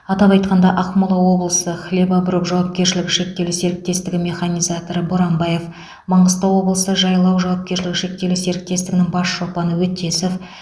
атап айтқанда ақмола облысы хлебороб жауапкершілігі шектеулі серіктесігі механизаторы боранбаев маңғыстау облысы жайлау жауапкершілігі шектеулі серіктесігінің бас шопаны өтесов